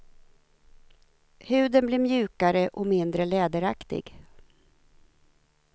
Huden blir mjukare och mindre läderaktig.